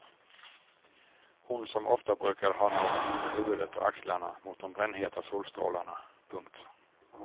Hon som ofta brukade ha någonting på huvudet och axlarna mot de brännheta solstrålarna. punkt